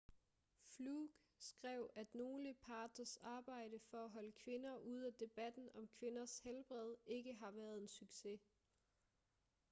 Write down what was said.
fluke skrev at nogle parters arbejde for at holde kvinder ude af debatten om kvinders helbred ikke har været en succes